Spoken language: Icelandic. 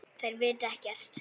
En þær vita ekkert.